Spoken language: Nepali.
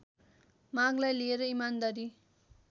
मागलाई लिएर इमानदारी